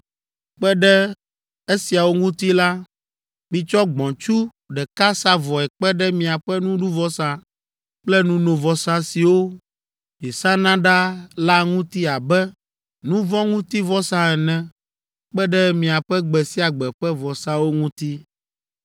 Kpe ɖe esiawo ŋuti la, mitsɔ gbɔ̃tsu ɖeka sa vɔe kpe ɖe miaƒe nuɖuvɔsa kple nunovɔsa siwo miesana ɖaa la ŋuti abe nu vɔ̃ ŋuti vɔsa ene kpe ɖe miaƒe gbe sia gbe ƒe vɔsawo ŋuti.